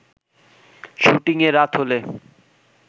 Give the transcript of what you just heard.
শুটিংয়ে রাত হলে